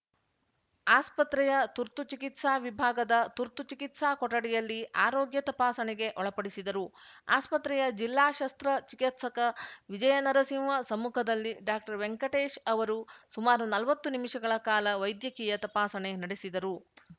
ಆಸ್ಪತ್ರೆಯ ತುರ್ತು ಚಿಕಿತ್ಸಾ ವಿಭಾಗದ ತುರ್ತು ಚಿಕಿತ್ಸಾ ಕೊಠಡಿಯಲ್ಲಿ ಆರೋಗ್ಯ ತಪಾಸಣೆಗೆ ಒಳಪಡಿಸಿದರು ಆಸ್ಪತ್ರೆಯ ಜಿಲ್ಲಾ ಶಸ್ತ್ರ ಚಿಕಿತ್ಸಕ ವಿಜಯನರಸಿಂಹ ಸಮ್ಮುಖದಲ್ಲಿ ಡಾಕ್ಟರ್ವೆಂಕಟೇಶ್‌ ಅವರು ಸುಮಾರು ನಲ್ವತ್ತು ನಿಮಿಷಗಳ ಕಾಲ ವೈದ್ಯಕೀಯ ತಪಾಸಣೆ ನಡೆಸಿದರು